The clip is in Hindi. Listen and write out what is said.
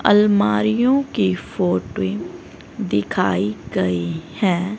अलमारीयो की फोटो दिखाई गई है।